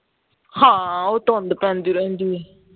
ਹਾਂ ਉਹ ਤੁਦ ਪਰਦੀ ਰਹਿੰਦੀ ਹੈ